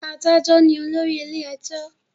Adájọ ní olórí ilé ẹjọ́